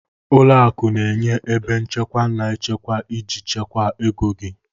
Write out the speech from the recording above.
Ụlọ akụ na-enye ebe nchekwa na nchekwa iji chekwaa ego gị.